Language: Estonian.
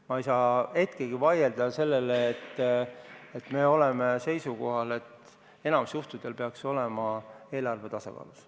Ma ei saa hetkegi vastu vaielda sellele, et enamikul juhtudel peaks eelarve olema tasakaalus.